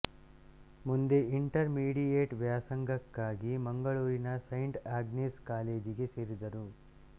ಮುಂದೆ intermediate ವ್ಯಾಸಂಗಕ್ಕಾಗಿ ಮಂಗಳೂರಿನ ಸೈಂಟ್ ಆಗ್ನೆಸ್ ಕಾಲೇಜಿಗೆ ಸೇರಿದರು